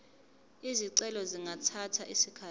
izicelo zingathatha isikhathi